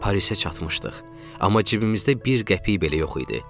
Parisə çatmışdıq, amma cibimizdə bir qəpik belə yox idi.